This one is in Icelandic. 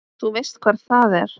Þú veist hvar það er?